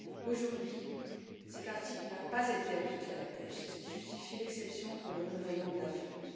Aujourd'hui, cet article n'a pas été appliqué à la pêche, c'est ce qui justifie l'exception pour le renouvellement de la flotte.